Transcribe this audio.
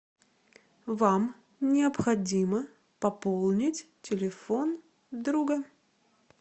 вам необходимо пополнить телефон друга